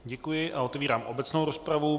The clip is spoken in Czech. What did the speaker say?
Děkuji a otevírám obecnou rozpravu.